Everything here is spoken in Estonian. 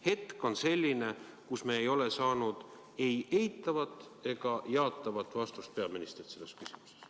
Hetkeseis on selline, et me ei ole saanud peaministrilt ei eitavat ega jaatavat vastust selles küsimuses.